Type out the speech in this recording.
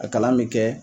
A kalan bɛ kɛ